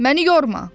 Məni yorma.